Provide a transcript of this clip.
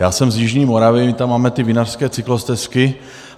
Já jsem z jižní Moravy, my tam máme ty vinařské cyklostezky.